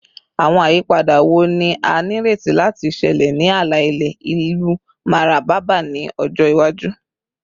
Awọn ayipada wo ni a nireti lati ṣẹlẹ ni ala-ilẹ ilu Mararaba ni ọjọ iwaju?